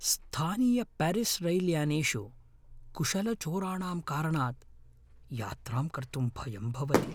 स्थानीयपेरिस् रैल्यानेषु कुशलचोराणां कारणात् यात्रां कर्तुं भयं भवति ।